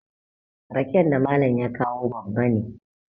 raken da Malam ya kawo babban ne